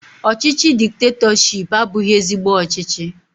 Ọchịchị diktetọshiipu abụghị ezigbo ọchịchị